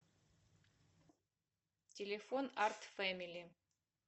телефон арт фэмили